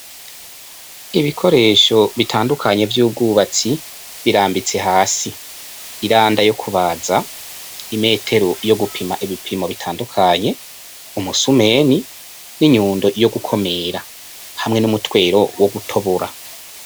Ibikoresho bitandukanye vy'ubwubatsi birambitse hasi, iranda yo kubaza, imetero yo gupima ibipimo bitandukanye, umusumei n'inyundo yo gukumira hamwe 'umutwero wo gutobora.